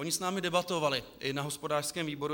Oni s námi debatovali i na hospodářském výboru.